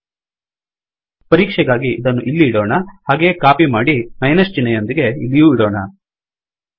ಪರೀಕ್ಷೆಗಾಗಿ ಇದನ್ನು ಇಲ್ಲಿ ಇಡೋಣ ಹಾಗೆಯೇ ಕಾಪಿ ಮಾಡಿ ಮೈನಸ್ ಚಿಹ್ನೆಯೊಂದಿಗೆ ಇಲ್ಲಿಯೂ ಇಡೋಣ